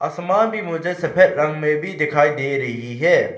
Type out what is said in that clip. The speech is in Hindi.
आसमान भी मुझे सफेद रंग में भी दिखाई दे रही है।